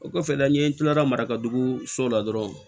O kɔfɛ la n ye kila ka dugu so la dɔrɔn